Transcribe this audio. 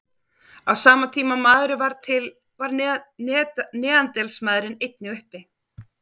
Á sama tíma og maðurinn varð til var neanderdalsmaðurinn einnig uppi.